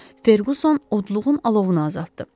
Ferquson odluğun alovunu azaltdı.